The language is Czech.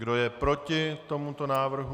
Kdo je proti tomuto návrhu?